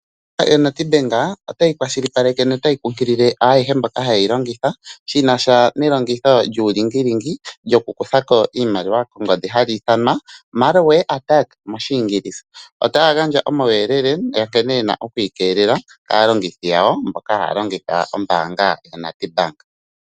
Ombaanga yaNedbank otayi kwashilipaleke no otayi kukunkulila ayehe mboka haya yi longitha shinasha nelongitho lyuulingilingi wokukutha ko iimaliwa kongodhi hali ithanwa Malware Attacks moshingilisa otaya gandja omauyelele nkene wuna okwiikelela kaalongothi yawo mboka haya longitha ombaanga yaNedbank.